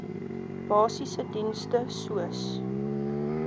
basiese dienste soos